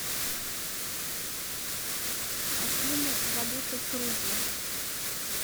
афина валюта в грузии